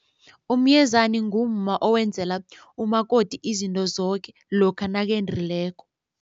Umyezani ngumma owenzela umakoti izinto zoke lokha nakendileko.